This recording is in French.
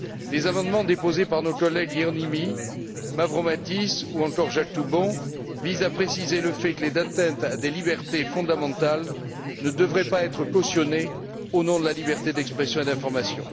Les amendements déposés par nos collègues Hieronymi, Mavrommatis ou encore Jacques Toubon visent à préciser le fait que les atteintes à des libertés fondamentales ne devraient pas être cautionnées au nom de la liberté d'expression et d'information.